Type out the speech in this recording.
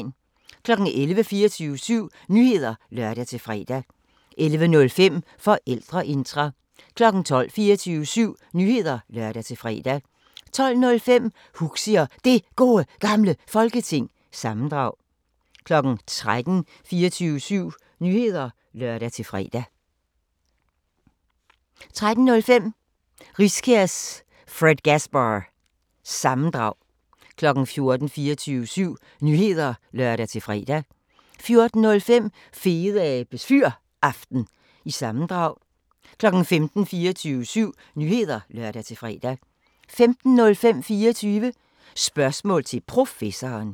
11:00: 24syv Nyheder (lør-fre) 11:05: Forældreintra 12:00: 24syv Nyheder (lør-fre) 12:05: Huxi og Det Gode Gamle Folketing – sammendrag 13:00: 24syv Nyheder (lør-fre) 13:05: Riskærs Fredgasbar- sammendrag 14:00: 24syv Nyheder (lør-fre) 14:05: Fedeabes Fyraften – sammendrag 15:00: 24syv Nyheder (lør-fre) 15:05: 24 Spørgsmål til Professoren